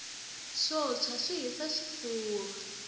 swo tshwa swi hisa xifura